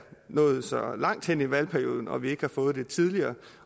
nået så langt hen i valgperioden og at vi ikke har fået det tidligere